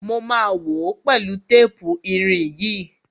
Mo ma wòó pẹ̀lú tépù irin yìí.